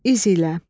İzlə.